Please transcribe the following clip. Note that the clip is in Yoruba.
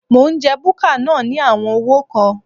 Mò ń jẹ búkà náà ní àwọn owó kan.